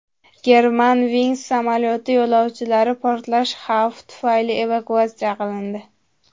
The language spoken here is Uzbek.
Germanwings samolyoti yo‘lovchilari portlash xavfi tufayli evakuatsiya qilindi.